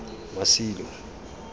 masilo